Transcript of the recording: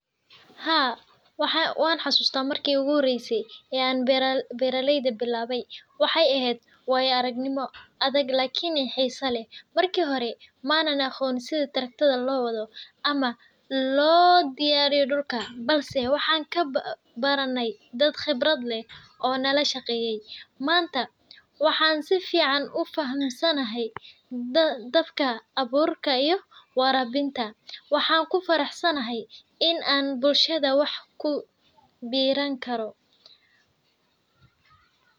Haa, wanxasusta marki ey uguhoreysa aan beraleyda bilaabey waxe eheed waayo arag nimo lakin xiisa leh. Marki hore maanan aqoon sidha tractor dha loowadho ama loodiyaariyo dulka balse waxaan kabarane dad qibrad leh oo nalashaqeeyey. Manta waxan sifican ufahasanahy dadka abuurka iyo waraabinta waxaan kufaraxsanahy in an bulshada wax kuberan karo.